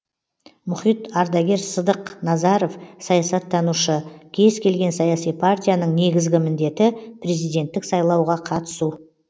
мұхит ардагер сыдықназаров саясаттанушы кез келген саяси партияның негізгі міндеті президенттік сайлауға түсу